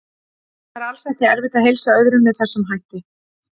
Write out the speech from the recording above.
Það er alls ekki erfitt að heilsa öðrum með þessum hætti.